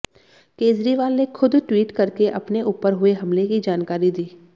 केजरीवाल ने खुद ट्वीट करके अपने ऊपर हुए हमले की जानकारी दी